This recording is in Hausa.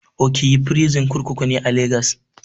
Ikoyi prison kurkuku ne a legas